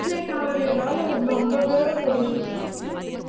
ஆனது என்னால நம்பவே முடியலை